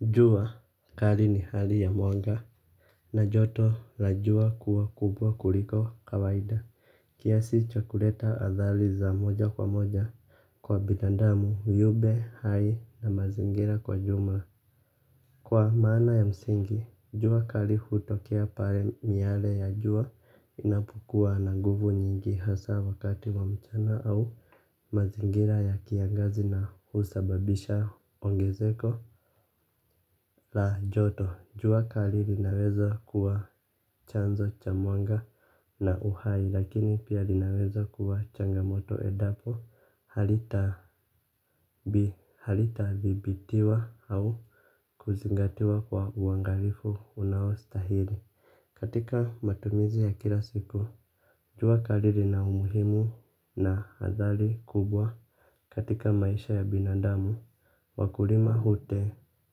Jua kali ni hali ya mwanga. Na joto la jua kuwa kubwa kuliko kawaida. Kiasi chakuleta athali za moja kwa moja. Kwa bidandamu viube hai na mazingira kwa jumla. Kwa maana ya msingi, jua kari hutokea pare miale ya jua inapokua na guvu nyingi hasa wakati wa mchana au mazingira ya kiangazi na husababisha ongezeko la joto jua kali linaweza kuwa chanzo cha mwanga na uhai lakini pia linaweza kuwa changamoto edapo halita halita thibitiwa au kuzingatiwa kwa uangalifu unao stahili. Katika matumizi ya kila siku jua kali lina umuhimu na hathali kubwa katika maisha ya binadamu. Wakulima hute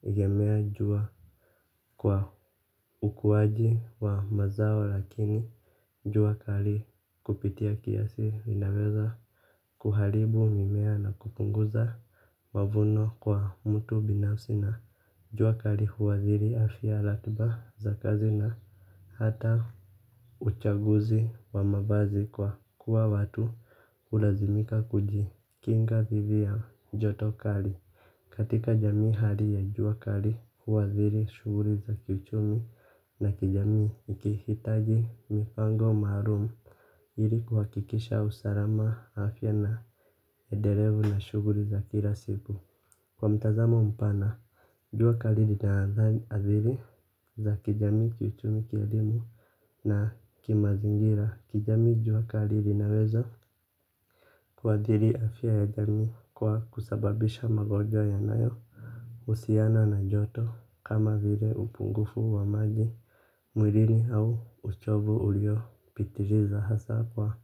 gemea jua kwa ukuwaji wa mazao lakini jua kari kupitia kiasi linaweza kuharibu mimea na kupunguza mavuno kwa mtu binafsi na jua kari huwadhiri afya latba za kazi na hata uchaguzi wa mabazi kwa kuwa watu ulazimika kuji kinga dhidi ya joto kari katika jami hali ya jua kari huwathuri shuguri za kiuchumi na kijami ikihitaji mipango marum ili kuhakikisha usalama afya na elendelevu na shuguli za kila siku kwa mtazamo mpana jua kari litaathiri za kijamii kiuchumi kielimu na kimazingira kijamii jua kari linaweza. Kuadhiri afya ya jami kwa kusababisha magojwa ya nayo. Usiana na joto kama vire upungufu wa maji. Mwilirini au uchovu ulio pitiriza hasa kwa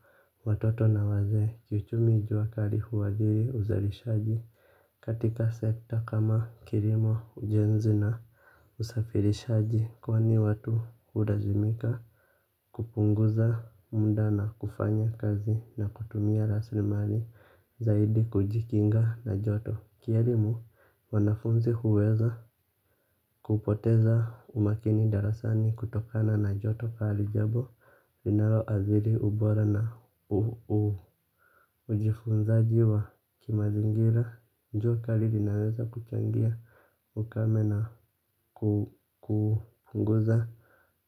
watoto na wazee. Kiuchumi jua kari huadhiri uzarishaji. Katika sekta kama kirimo ujenzi na usafirishaji. Kwani watu hurazimika kupunguza munda na kufanya kazi na kutumia raslimari zaidi kujikinga na joto. Kierimu wanafunzi huweza kupoteza umakini darasani kutokana na joto kari jabo ninaloathiri ubora na ujifunzaji wa kimazingira jua kari linaweza kuchangia ukame na kupunguza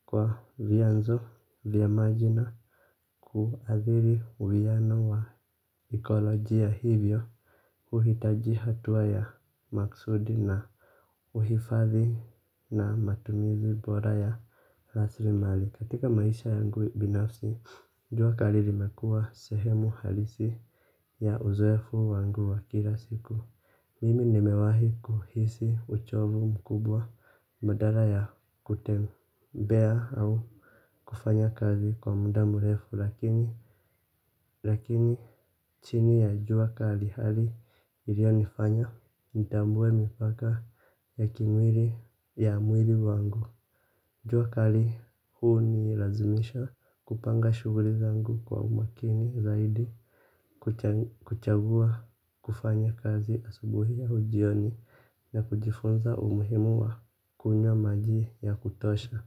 kwa vyanzo va maji na kuadhiri uwiyano wa ekoloji ya hivyo. Uhitaji hatuwa ya maksudi na uhifadhi na matumizi bora ya rasrimali. Katika maisha yangu binafsi. Njua kaliri mekua sehemu halisi ya uzoefu wangu wa kila siku. Mimi nimewahi kuhisi uchovu mkubwa madara ya kutembea au kufanya kazi kwa muda murefu. Lakini, lakini chini ya jua kali hali ilionifanya ntambue mipaka ya kimwili ya mwili wangu. Jua kali huu ni razimisha kupanga shuguri zangu kwa umakini zaidi. Kuchagua kufanya kazi asubuhi au jioni na kujifunza umuhimu wa kunywa maji ya kutosha.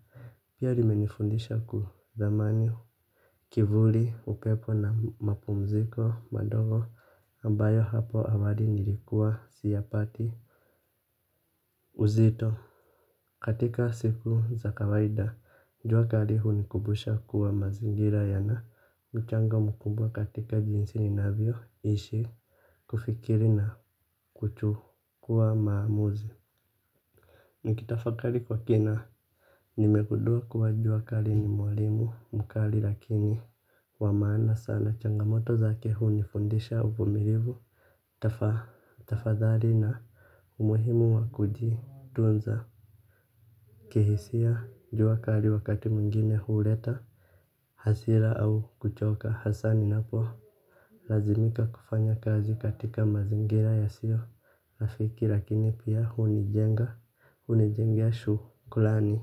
Pia limenifundisha kuthamani kivuli upepo na mapumziko madogo ambayo hapo awali nilikuwa siyapati uzito. Katika siku za kawaida, njua kari hunikubusha kuwa mazingira ya na mchango mkumbwa katika jinsi ninavyo ishi kufikiri na kuchu kuwa maamuzi. Nikitafa kari kwa kina. Nimegudua kuwa njua kari ni mwalimu mkari lakini wamana sana changamoto za kehu nifundisha uvumirivu. Tafadhali na umuhimu wakuji tunza. Kihisia juakari wakati mwingine hureta hasira au kuchoka hasani napo lazimika kufanya kazi katika mazingira ya sio afiki lakini pia hunijenga. Hunijengea shukulani.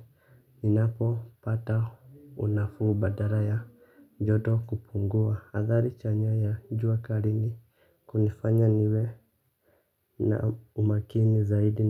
Ninapo pata unafu badara ya joto kupungua. Hadhali chanya ya juakari ni kunifanya niwe na umakini zaidi.